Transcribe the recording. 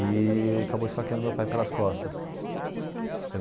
E acabou esfaqueando meu pai pelas costas.